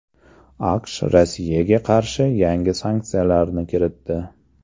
AQSh Rossiyaga qarshi yangi sanksiyalarni kiritdi.